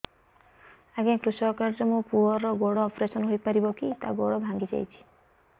ଅଜ୍ଞା କୃଷକ କାର୍ଡ ରେ ମୋର ପୁଅର ଗୋଡ ଅପେରସନ ହୋଇପାରିବ କି ତାର ଗୋଡ ଭାଙ୍ଗି ଯାଇଛ